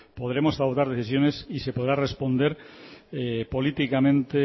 podremos adoptar decisiones y se podrá responder políticamente